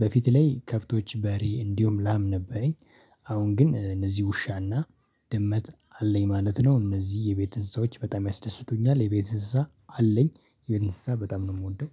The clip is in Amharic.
በፊት ላይ ከብቶች በሬ እንዲሁም ላም ነበረኝ አሁን ግን እነዚህ ውሻና ድመት አለኝ ማለት ነው እነዚህ የቤት እንስሳዎች በጣም ያስደስቱኛል፤ የቤት እንስሳ አለኝ የቤት እንስሳ በጣም ነው የምወደው